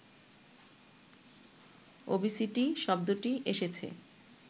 obesity শব্দটি এসেছে